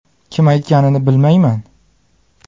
Kim aytganini bilmayman.